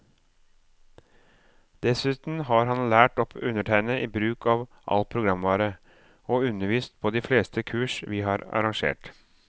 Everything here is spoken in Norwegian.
Dessuten har han lært opp undertegnede i bruk av all programvare, og undervist på de fleste kurs vi har arrangert.